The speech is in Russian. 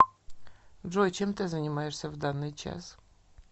джой чем ты занимаешься в данный час